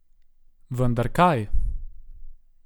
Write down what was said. Vendar kaj?